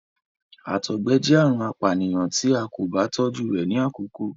àtọgbẹ jẹ àrùn apànìyàn tí a kò bá tójú rẹ ni àkọkọ